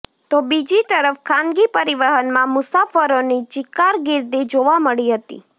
તો બીજી તરફ ખાનગી પરિવહનમાં મુસાફરોની ચિક્કાર ગીર્દી જોવા મળી હતી